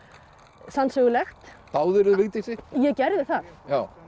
sannsögulegt Vigdísi ég gerði það